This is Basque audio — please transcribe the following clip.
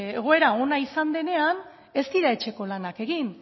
egoera ona izan denean ez dira etxeko lanak egin